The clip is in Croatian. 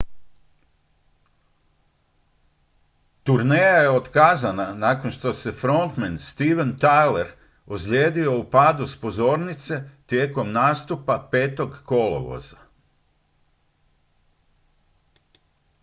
turneja je otkazana nakon što se frontmen steven tyler ozlijedio u padu s pozornice tijekom nastupa 5. kolovoza